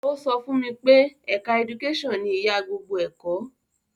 Ó sọ fún mi pé ẹ̀ka ẹdukásàn ni ìyá gbogbo ẹ̀kọ́